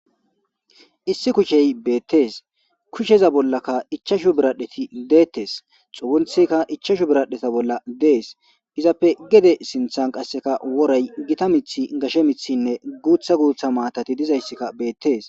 1kushe betese issi kushiya bollaka 5 biradheti detes xugunthiyka 5 biradhetan des izzappe gede sinthan woray gitta mithiy gashe mithine gutha gutha matati dizaysika betes